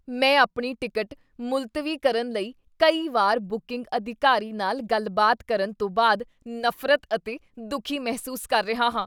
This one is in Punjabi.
ਮੈਂ ਆਪਣੀ ਟਿਕਟ ਮੁਲਤਵੀ ਕਰਨ ਲਈ ਕਈ ਵਾਰ ਬੁਕਿੰਗ ਅਧਿਕਾਰੀ ਨਾਲ ਗੱਲਬਾਤ ਕਰਨ ਤੋਂ ਬਾਅਦ ਨਫ਼ਰਤ ਅਤੇ ਦੁੱਖੀ ਮਹਿਸੂਸ ਕਰ ਰਿਹਾ ਹਾਂ।